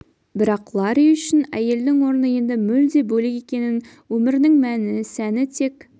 бірақ ларри үшін әйелдің орны енді мүлде бөлек екенін өмірінің мәні сәні тек